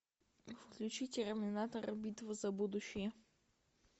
включи терминатор битва за будущее